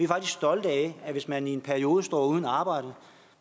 faktisk stolte af at hvis man i en periode står uden arbejde